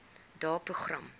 daeprogram